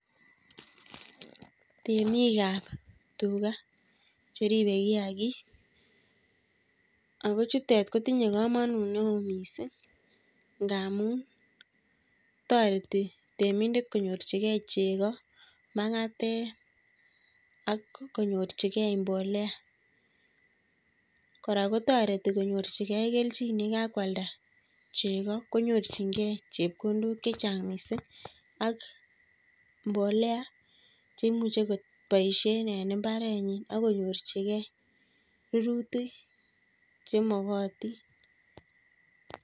Temik ap tuga cheribe kiagik akochutek kotinye komonut neoo miising' ngaamun toreti temindet konyorchigei chego, mang'atet, ak konyorchigei mbolea. kora kotoreti konyorchigei kelchin yekakwalda chego konyorchingei chepkondok chechang' miising' ak mbolea cheimuche koboisie en mbarenyi akorurchigei rirutik chemakatin